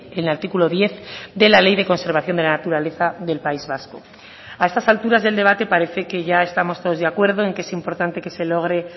en el artículo diez de la ley de conservación de la naturaleza del país vasco a estas alturas del debate parece que ya estamos todos de acuerdo en que es importante que se logre